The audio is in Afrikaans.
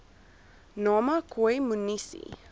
nama khoi munisi